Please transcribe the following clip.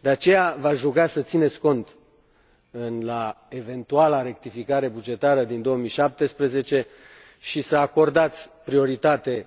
De aceea, v aș ruga să țineți cont, la eventuala rectificare bugetară din 2017, și să acordați prioritate